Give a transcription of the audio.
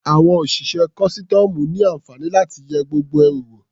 Àwọn òṣìṣẹ́ kọ́sítọ́ọ̀mù ní àǹfààní láti yẹ gbogbo ẹrù wò.